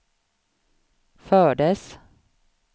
fördes